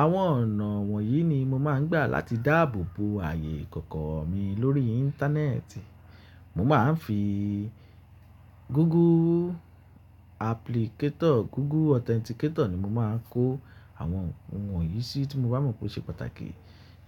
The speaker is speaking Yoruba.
Àwọn ọ̀nà wọ̀nyí ni mo máa ń gbà láti dáàbò bo ààyè ìkọ̀kọ̀ mi lórí íńtánẹ́ẹ̀tì. Mo máa ń fi Google Applicator, Google Authenticator ni mo máa ń kó àwọn ohun wọ̀nyí sí tí mo bá mọ̀ pé ó ṣe pàtàkì.